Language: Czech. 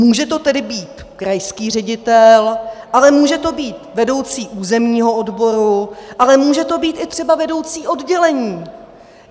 Může to tedy být krajský ředitel, ale může to být vedoucí územního odboru, ale může to být i třeba vedoucí oddělení.